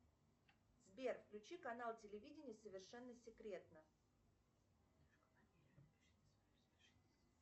сбер включи канал телевидения совершенно секретно